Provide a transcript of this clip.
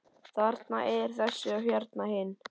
Þarna er þessi og hérna hinn.